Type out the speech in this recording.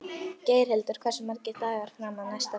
Geirhildur, hversu margir dagar fram að næsta fríi?